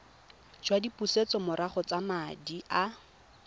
jwa dipusetsomorago tsa madi a